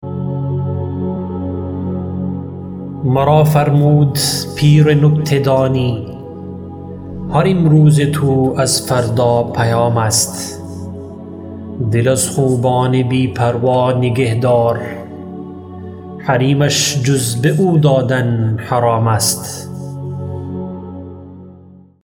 مرا فرمود پیر نکته دانی هر امروز تو از فردا پیام است دل از خوبان بی پروا نگهدار حریمش جز به او دادن حرام است